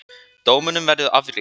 Dómunum verður áfrýjað.